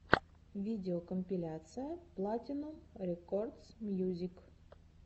видеокомпиляция платинум рекордс мьюзик